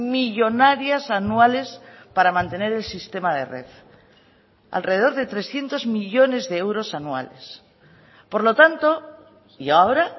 millónarias anuales para mantener el sistema de red alrededor de trescientos millónes de euros anuales por lo tanto y ahora